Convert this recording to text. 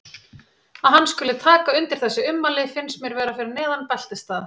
Að hann skuli taka undir þessi ummæli finnst mér vera fyrir neðan beltisstað.